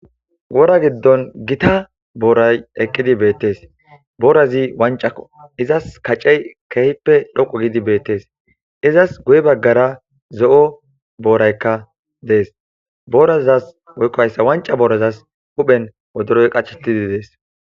wora giddon gita booray eqqidi beettes, boorazi wancako izas kaccey keehippe dhoqu gidi beettees , izas guye baggara zo7o booraykka dees boorazas woykqoyssa wanca boorazas huphen wodoroy qachetidi dees